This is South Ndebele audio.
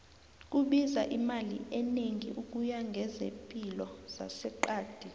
kubiza imali enegi ukuya kwezepilo zase qadi